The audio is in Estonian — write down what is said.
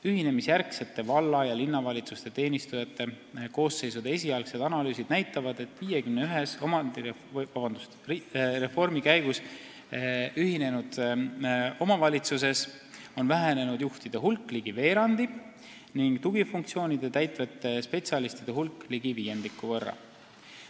Ühinemisjärgsete valla- ja linnavalitsuste teenistujate koosseisude esialgsed analüüsid näitavad, et 51-s reformi käigus ühinenud omavalitsuses on vähenenud juhtide hulk ligi veerandi ning tugifunktsioone täitvate spetsialistide hulk ligi viiendiku võrra.